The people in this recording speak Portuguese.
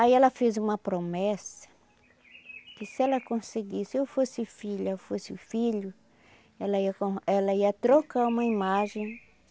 Aí ela fez uma promessa, que se ela conseguisse, se ou fosse filha ou fosse filho, ela ia for ela ia trocar uma imagem.